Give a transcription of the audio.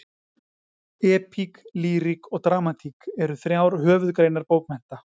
Epík, lýrik og dramatík eru þrjár höfuðgreinar bókmennta.